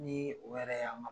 Ni o ma.